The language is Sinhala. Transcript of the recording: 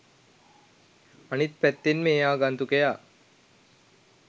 අනික් පැත්තෙන් මේ ආගන්තුකයා